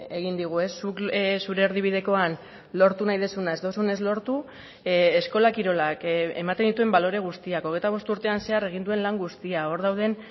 egin digu zuk zure erdibidekoan lortu nahi duzuna ez duzunez lortu eskola kirolak ematen dituen balore guztiak hogeita bost urtean zehar egin duen lan guztia hor dauden